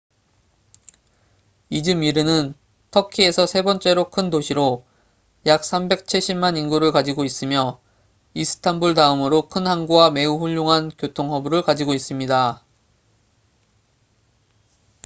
이즈미르는 터키에서 세 번째로 큰 도시로 약 3백 7십만 인구를 가지고 있으며 이스탄불 다음으로 큰 항구와 매우 훌륭한 교통 허브를 가지고 있습니다